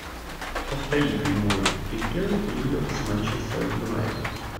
повтори прямой эфир ливер с манчестер юнайтед